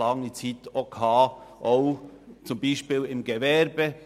Lange Zeit vertrat man diese Haltung auch im Gewerbe.